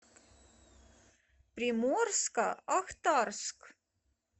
приморско ахтарск